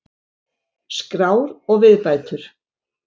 Skrár og viðbætur.